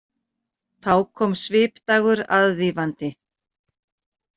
Þá kom Svipdagur aðvífandi.